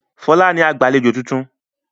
Fọlá ni agbàlejò tuntun.